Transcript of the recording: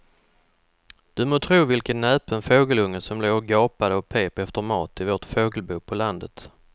Du må tro vilken näpen fågelunge som låg och gapade och pep efter mat i vårt fågelbo på landet.